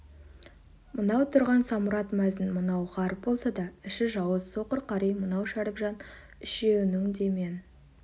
мынау тұрған самұрат мәзін мынау ғаріп болса да іші жауыз соқыр қари мынау шәріпжан үшеуінің де мен